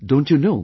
Don't you know